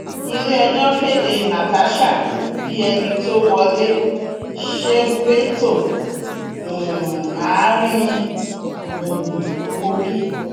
iléẹjọ kéde natasha bíi ẹni tó wọlé sébétò àárín gbùngbùn kogi